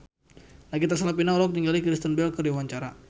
Nagita Slavina olohok ningali Kristen Bell keur diwawancara